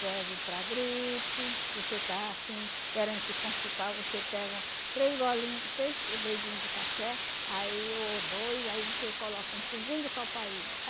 Serve para gripe, você está assim querendo se constipar, você pega três golinho três dedinho de café, aí ou dois, aí você coloca um pinguinho de copaíba.